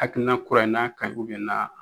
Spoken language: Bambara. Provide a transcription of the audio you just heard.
Akilina kura in na ka ɲi ubiyɛn n'a